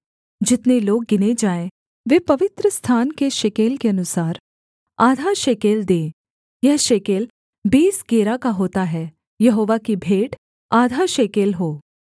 जितने लोग गिने जाएँ वे पवित्रस्थान के शेकेल के अनुसार आधा शेकेल दें यह शेकेल बीस गेरा का होता है यहोवा की भेंट आधा शेकेल हो